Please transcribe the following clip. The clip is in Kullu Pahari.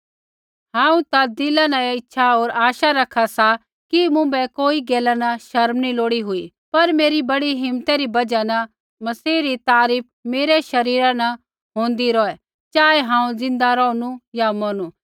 हांऊँ ता दिला न इच्छा होर आशा रखा सा कि मुँभै कोई गैला न शर्म नी लोड़ी हुई पर मेरी बड़ी हिम्मतै री बजहा न मसीह री तारीफ़ मेरै शरीरा न होंदै रौहै चाहे हांऊँ ज़िंदा रौहणु या मौरनु